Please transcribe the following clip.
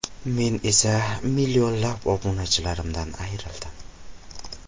Men esa millionlab obunachilarimdan ayrildim.